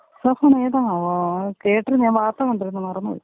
ഇസാഫന്നെ ഏതാന്നാവൊ കെട്ടിരുന്നു ഞാൻ വാർത്ത കണ്ടിരുന്നു മറന്നു പോയി.